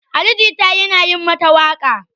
Ali Jita yana yi mata waƙa.